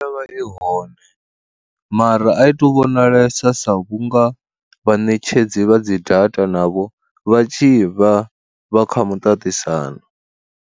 I vha i hone, mara a i tu vhonalesa sa vhunga vhaṋetshedzi vha dzi data navho vha tshi vha vha kha muṱaṱisano.